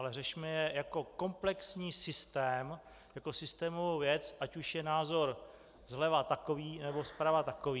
Ale řešme je jako komplexní systém, jako systémovou věc, ať už je názor zleva takový, nebo zprava takový.